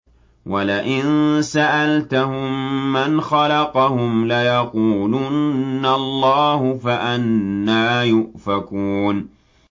وَلَئِن سَأَلْتَهُم مَّنْ خَلَقَهُمْ لَيَقُولُنَّ اللَّهُ ۖ فَأَنَّىٰ يُؤْفَكُونَ